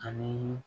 Ani